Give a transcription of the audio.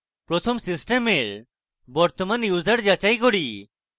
প্রথমে সিস্টেমের বর্তমান user যাচাই করি